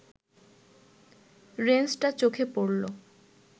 রেঞ্চটা চোখে পড়ল